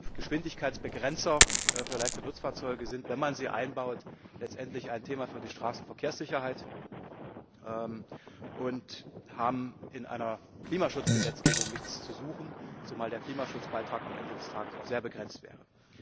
Geschwindigkeitsbegrenzer für leichte Nutzfahrzeuge sind, wenn man sie einbaut, letztendlich ein Thema für die Straßenverkehrssicherheit und haben in einer Klimaschutzgesetzgebung nichts zu suchen, zumal der Klimaschutzbeitrag am Ende des Tages auch sehr begrenzt wäre.